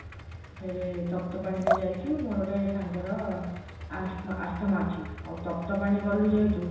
ଫେରେ ତପ୍ତପାଣି ରେ ଯାଇଛୁ ମୋର ଗୋଟେ ସାଙ୍ଗର ଆସ ଆସ୍ତାମା ଅଛି ଆଉ ତପ୍ତପାଣି ଗଲୁ ଯେହେତୁ